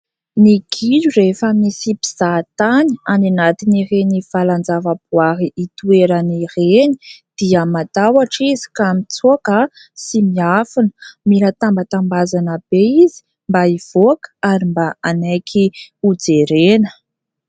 Ny gidro rehefa misy mpizahatany any anatin'ireny valan-javaboahary itoerany ireny dia matahotra izy ka mitsoaka sy miafina. Mila tambatambazana be izy mba ivoaka ary mba hanaiky ho jerena.